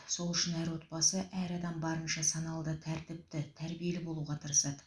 сол үшін әр отбасы әр адам барынша саналы да тәртіпті тәрбиелі болуға тырысады